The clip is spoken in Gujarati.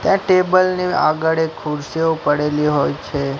ત્યાં ટેબલ ની આગળ એક ખુરસીઓ પડેલી હોઇ છે.